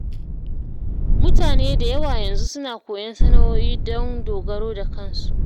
Mutane da yawa yanzu suna koyon sana’o’i don dogaro da kansu.